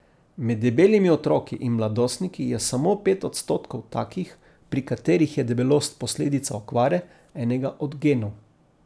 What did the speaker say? Med debelimi otroki in mladostniki je samo pet odstotkov takih, pri katerih je debelost posledica okvare enega od genov.